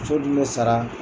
So dun bɛ sara.